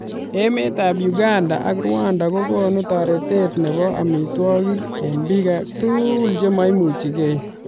Emet ab uganda ak rwanda kokonu taretet nebo amitwokik eng bik tugul chememuchikei.